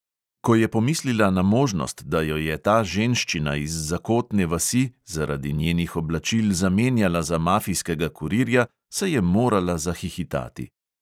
Ko je pomislila na možnost, da jo je ta ženščina iz zakotne vasi zaradi njenih oblačil zamenjala za mafijskega kurirja, se je morala zahihitati.